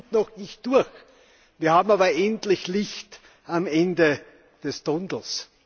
Wir sind noch nicht durch, wir sehen aber endlich Licht am Ende des Tunnels.